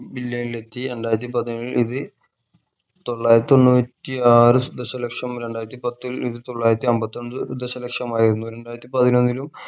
billion ൽ എത്തി രണ്ടായിരത്തി പതിനേഴിൽ ഇത് തൊള്ളായിരത്തി തൊണ്ണൂറ്റി ആറ് ദശ ലക്ഷം രണ്ടായിരത്തി പത്തിൽ ഇത് തൊള്ളായിരത്തി അമ്പത്തഞ്ച്‌ ദശ ലക്ഷമായിരുന്നു രണ്ടായിരത്തി പതിനൊന്നിലും